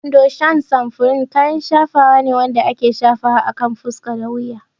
Fondashan samfurin kayan shafawa ne wanda ake shafawa akan fuska da wuya.